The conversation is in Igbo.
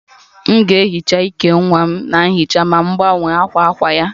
M ga-ehicha íkè nwa m na nhicha ma m gbanwe akwa akwa ya